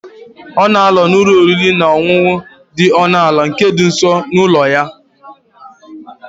Ọ na-anọ n'ụlọ oriri na ọṅụṅụ dị ọnụ ala nke dị nso n'ụlọ ya.